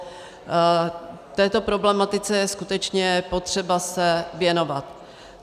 Této problematice je skutečně potřeba se věnovat.